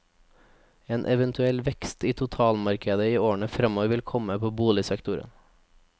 En eventuell vekst i totalmarkedet i årene fremover vil komme på boligsektoren.